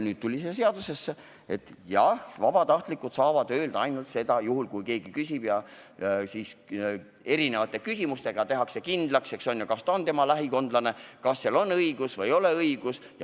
Nüüd sai seaduseelnõusse kirja, et jah, vabatahtlikud saavad öelda ainult seda, juhul kui keegi küsib, ja siis tehakse küsimuste abil kindlaks, kas küsija on lähikondlane, kas tal on vastav õigus või ei ole seda.